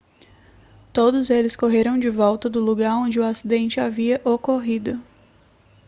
todos eles correram de volta do lugar onde o acidente havia ocorrido